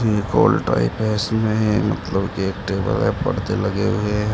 एक हाल टाइप है इसमें मतलब की एक टेबल है परदे लगे हुए हैं।